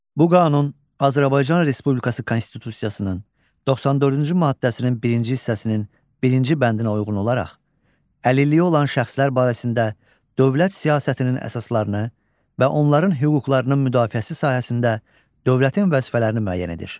Bu qanun Azərbaycan Respublikası Konstitusiyasının 94-cü maddəsinin birinci hissəsinin birinci bəndinə uyğun olaraq əlilliyi olan şəxslər barəsində dövlət siyasətinin əsaslarını və onların hüquqlarının müdafiəsi sahəsində dövlətin vəzifələrini müəyyən edir.